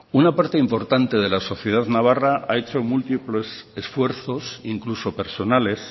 una parte importante de la sociedad navarra ha hecho múltiples esfuerzos incluso personales